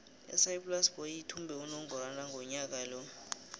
isaaiplas boys ithumbe unongorwana ngonyaka ka